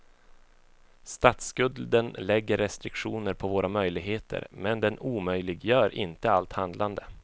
Statsskulden lägger restriktioner på våra möjligheter, men den omöjliggör inte allt handlande.